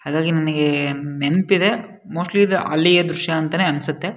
ಹಾಂಗಾಗಿ ನನಿಗೆ ನೆನಪಿದೆ ಮೋಸ್ಟ್ಲಿ ಇದು ಅಲ್ಲಿಯ ದ್ರಶ್ಯ ಅನ್ಸುತ್ತೆ.